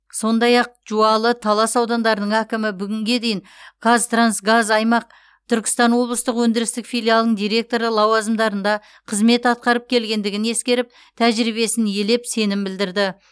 сондай ақ жуалы талас аудандарының әкімі бүгінге дейін қазтрансгаз аймақ түркістан облыстық өндірістік филиалының директоры лауазымдарында қызмет атқарып келгендігін ескеріп тәжірибесін елеп сенім білдірді